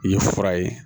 I ye fura ye